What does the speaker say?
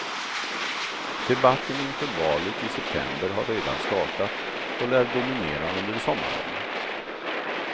Debatten inför valet i september har redan startat och lär dominera under sommaren.